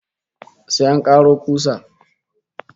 Sai an karo kusa